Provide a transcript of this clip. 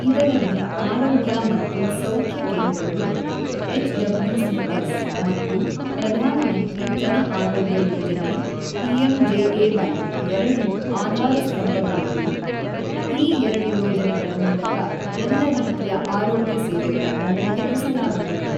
ಇದರಲ್ಲಿ ಆರೋಗ್ಯ ಮತ್ತು ಸೌಖ್ಯ ಕೇಂದ್ರಗಳು ಎಚ್ ಡಬ್ಲ್ಯೂಸಿಎಸ್ ಮತ್ತು ಪ್ರಧಾನಮಂತ್ರಿ ಜನ ಆರೋಗ್ಯ ಯೋಜನೆ ಪಿಎಂಜೆಎವೈ ಎರಡೂ ಆಧಾರಸ್ಥಂಬಗಳಿದ್ದು, ಈ ಎರಡು ಯೋಜನೆಗಳ ಮೂಲಕ ಎಲ್ಲ ರೀತಿಯ ಆರೋಗ್ಯ ಸೇವೆಗಳನ್ನು ಒದಗಿಸಲಾಗುವುದು.